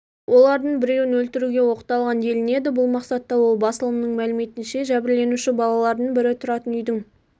олардың біреуін өлтіруге оқталған делінеді бұл мақсатта ол басылымның мәліметінше жәбірленуші балалардың бірі тұратын үйдің